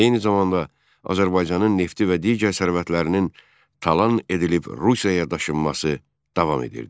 Eyni zamanda Azərbaycanın nefti və digər sərvətlərinin talan edilib Rusiyaya daşınması davam edirdi.